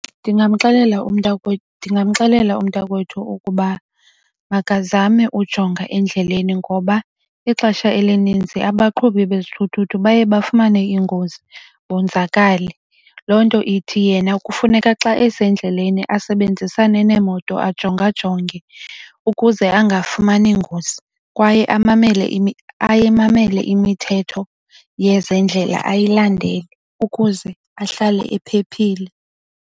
Ndingamxelela umntakwethu ukuba makazame ujonga endleleni ngoba ixesha elininzi abaqhubi bezithuthuthu baye bafumane iingozi bonzakale. Loo nto ithi yena kufuneka xa esendleleni asebenzisane neemoto, ajongajonge ukuze angafumani ingozi. Kwaye amamele imithetho yezendlela ayilandele ukuze ahlale ephephile.